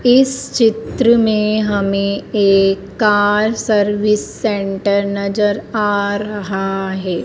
इस चित्र में हमें एक कार सर्विस सेंटर नजर आ रहा है।